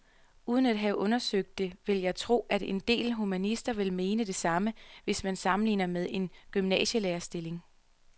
Uden at have undersøgt det vil jeg tro, at en del humanister vil mene det samme, hvis man sammenligner med en gymnasielærerstilling.